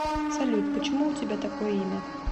салют почему у тебя такое имя